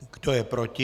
Kdo je proti?